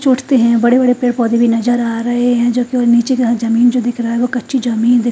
छोड़ते हैं बड़े बड़े पेड़ पौधे भी नजर आ रहे हैं जब कोई नीचे का जमीन जो दिख रहा है वो कच्ची जमीन--